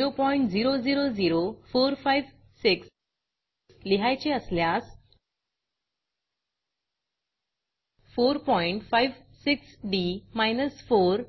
0000456 लिहायचे असल्यास 456डी 4